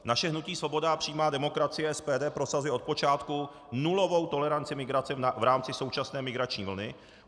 Naše hnutí Svoboda a přímá demokracie, SPD, prosazuje od počátku nulovou toleranci migrace v rámci současné migrační vlny.